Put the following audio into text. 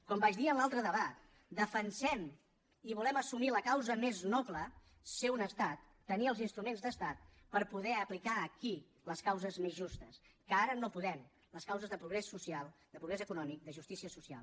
com vaig dir en l’altre debat defensem i volem assumir la causa més noble ser un estat tenir els instruments d’estat per poder aplicar aquí les causes més justes que ara no podem les causes de progrés social de progrés econòmic de justícia social